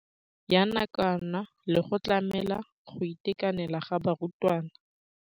Ya nakwana le go tlamela go itekanela ga barutwana.